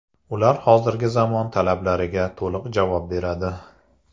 Ular hozirgi zamon talablariga to‘liq javob beradi.